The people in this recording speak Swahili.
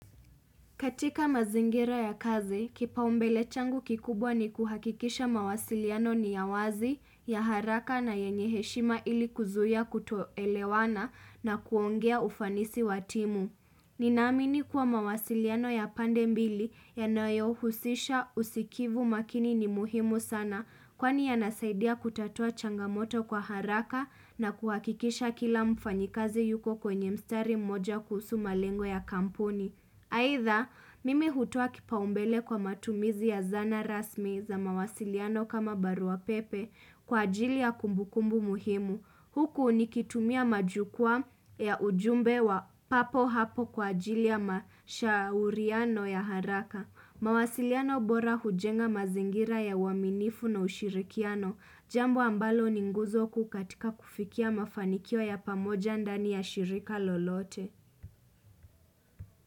Katika mazingira ya kazi, kipaumbele changu kikubwa ni kuhakikisha mawasiliano ni ya wazi, ya haraka na yenye heshima ili kuzuia kutoelewana na kuongea ufanisi wa timu. Ninaamini kuwa mawasiliano ya pande mbili yanayohusisha usikivu makini ni muhimu sana kwani yanasaidia kutatua changamoto kwa haraka na kuhakikisha kila mfanyikazi yuko kwenye mstari mmoja kuhusu malengo ya kampuni. Aidha, mimi hutoa kipaumbele kwa matumizi ya zana rasmi za mawasiliano kama baruapepe kwa ajili ya kumbukumbu muhimu. Huku nikitumia majukwaa ya ujumbe wa papo hapo kwa ajili ya mashauriano ya haraka. Mawasiliano bora hujenga mazingira ya uaminifu na ushirikiano. Jambo ambalo ni nguzo kuu katika kufikia mafanikio ya pamoja ndani ya shirika lolote.